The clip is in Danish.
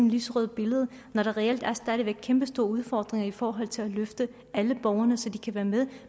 lyserødt billede når der reelt stadig væk er kæmpestore udfordringer i forhold til at løfte alle borgerne så de kan være med